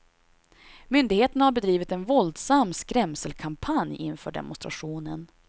Myndigheterna har bedrivit en våldsam skämselkampanj inför demonstrationen.